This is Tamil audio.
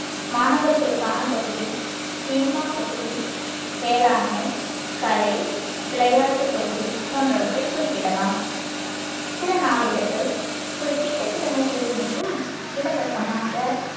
மாணவர்களுக்கான பகுதி சினிமாப் பகுதி வேளாண்மை கலை விளையாட்டுப் பகுதி போன்றவற்றைக் குறிப்பிடலாம் சில நாளிதழ்கள் குறிப்பிட்ட கிழமைகளில் மட்டும் இலவசமாக